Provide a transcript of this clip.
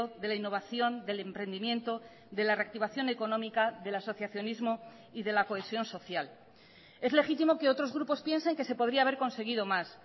de la innovación del emprendimiento de la reactivación económica del asociacionismo y de la cohesión social es legítimo que otros grupos piensen que se podría haber conseguido más